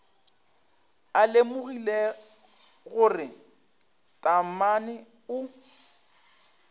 a lemogile gore taamane o